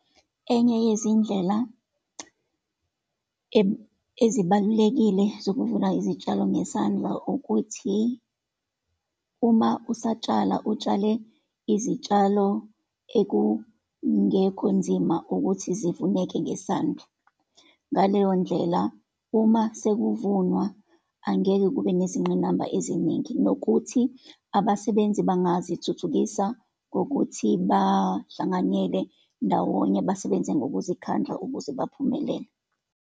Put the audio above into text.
Enye yezindlela ezibalulekile zokuvuna izitshalo ngesandla ukuthi uma usatshala, utshale izitshalo engekhonzima ukuthi zivuneke ngesandla. Ngaleyo ndlela, uma sekuvunwa angeke kube nezingqinamba eziningi, nokuthi abasebenzi bangazithuthukisa ngokuthi bahlanganyele ndawonye, basebenze ngokuzikhandla ukuze baphumelele.